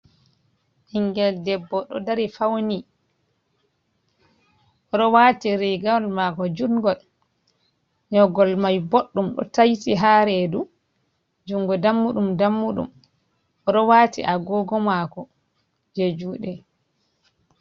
Ɓinngel debbo ɗo dari fawni, o ɗo waati riigawol maako juuɗngol, nyoogol may boɗɗum, ɗo tayti haa reedu, junngo dammuɗum-dammuɗum. O ɗo waati agoogo maako, jey juuɗe.